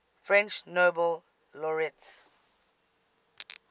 french nobel laureates